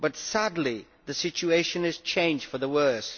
Sadly the situation has changed for the worse.